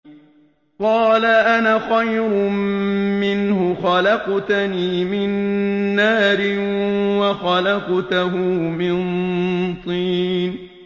قَالَ أَنَا خَيْرٌ مِّنْهُ ۖ خَلَقْتَنِي مِن نَّارٍ وَخَلَقْتَهُ مِن طِينٍ